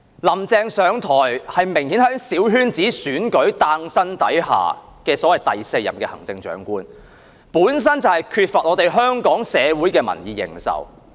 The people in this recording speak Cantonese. "林鄭"上台，明顯是在小圈子選舉下誕生的所謂"第四任行政長官"，本身就缺乏香港社會的民意認受。